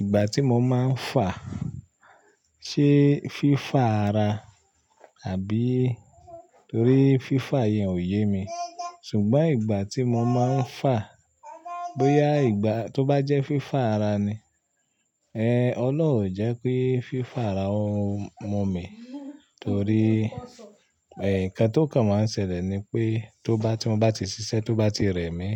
Ìgbà tí mo máa ń fà, ṣe fífà ara àbí? Torí fífà yẹn ò yé mi. Ṣùgbọ́n ìgbà tí mo máa ń fà, bóyá ìgbà tó bá jẹ́ fífà ara ni, ẹ, ọ́loun ò jẹ́ ki fífà ara ó mú mi, torí, ẹ, nǹkan tí ó kan máa ń ṣẹlẹ̀ ni pé tó bá tí mo bá ti ṣiṣẹ́, tó bá ti rẹ mi,